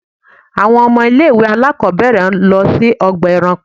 Àwọn ọmọ ilé ìwé àlákóbèrè lọ sí ọgbà eranko.